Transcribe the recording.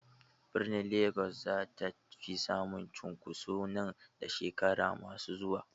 Birnin Legas za ta fi samun cunkoso nan da shekaru masu zuwa.